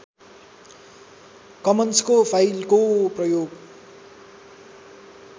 कमन्सको फाइलको प्रयोग